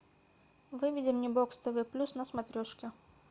выведи мне бокс тв плюс на смотрешке